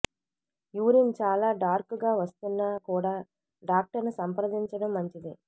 urine చాలా dark గా వస్తున్నా కూడా డాక్టర్ ను సంప్రదించడం మంచిది